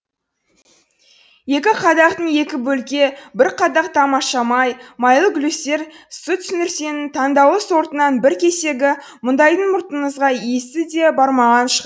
екі қадақтың екі бөлке бір қадақ тамаша май майлы глюстер сүтсірнесінің таңдаулы сортынан бір кесегі мұндайдың мұртыңызға иісі де бармаған